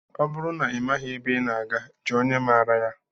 Ọ bụrụ na ị maghị ebe ị na-aga, jụọ onye maraa ya.